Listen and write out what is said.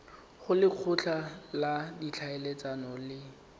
go lekgotla la ditlhaeletsano le